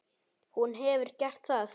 Hún hefði gert það.